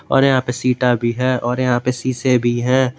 और यहां पे शीटा भी है और यहां पे शीशे भी है।